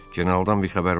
Generaldan bir xəbər var?